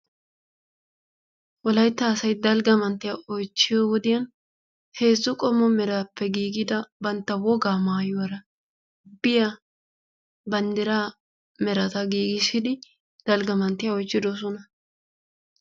Wolaytta asay dalgga manttiya oychchiyo wodiyan heezzu qommo meraappe giiggida bantta wogaa maayuwara biya banddiraa merata giggissidi dalgga manttiya oychchiddosona.